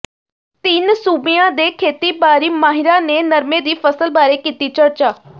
ਤਿੰਨ ਸੂਬਿਆਂ ਦੇ ਖੇਤੀਬਾੜੀ ਮਾਹਿਰਾਂ ਨੇ ਨਰਮੇ ਦੀ ਫਸਲ ਬਾਰੇ ਕੀਤੀ ਚਰਚਾ